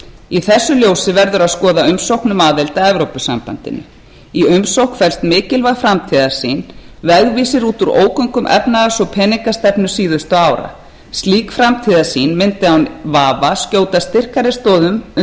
í þessu ljósi verður að skoða umsókn um aðild að evrópusambandinu í umsókn felst mikilvæg framtíðarsýn vegvísir út úr ógöngum efnahags og peningastefnu síðustu ára slík framtíðarsýn mundi án vafa skjóta styrkari stoðum